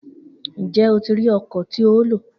Njẹ o ti ri ọkọ ti o lo?